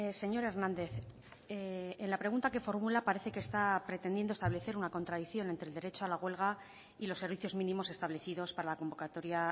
señor hernández en la pregunta que formula parece que está pretendiendo establecer una contradicción entre el derecho a la huelga y los servicios mínimos establecidos para la convocatoria